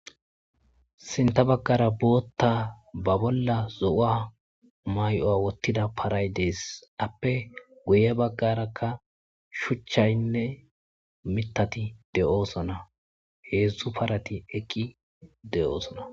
sinta baggara bootta ba bolla zo7aa may7oya wottida paray dees appe guye baggarakka shuchchaynne mitati de7oosona heedzdzu parati ekki de7oosona